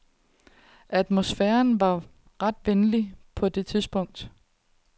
Atmosfæren var ret venlig på det tidspunkt.